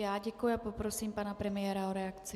Já děkuji a poprosím pana premiéra o reakci.